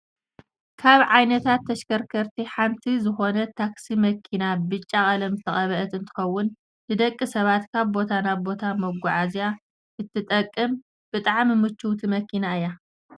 ካብ ዓይነታት ተሽከርከርቲ ሓንቲ ዝኮነት ታክሲ መኪና ብጫ ቀለም ዝተቀበአት እንትከውን፣ ንደቂ ሰባት ካብ ቦታ ናብ ቦታ መጓዓዓዝያ እትጠቅም ብጣዕሚ ምችውቲ መኪና እያ።